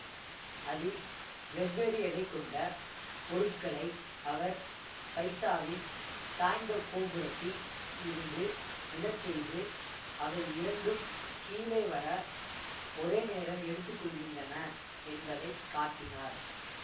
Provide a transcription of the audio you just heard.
அதில் வெவ்வேறு எடை கொண்ட பொருட்களை அவர் பைசாவின் சாய்ந்த கோபுரத்தில் இருந்து விழச்செய்து அவை இரண்டும் கீழே வர ஒரே நேரம் எடுத்துக்கொள்கின்றன என்பதை காட்டினார்